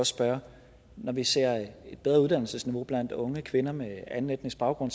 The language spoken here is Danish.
spørge når vi ser et bedre uddannelsesniveau blandt unge kvinder med anden etnisk baggrund